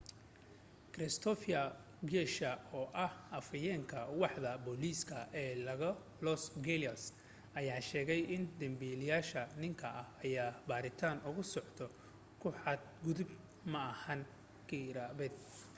christopher garcia oo ah afayeenka waaxda booliska ee los angeles ayaa sheegay in dambiilaha ninka ah ayaa baaritaan ugu socoto ku xad gudub ma ahan kharibaad